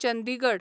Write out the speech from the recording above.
Chandigarh